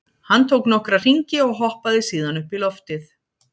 Hann tók nokkra hringi og hoppaði síðan upp í loftið.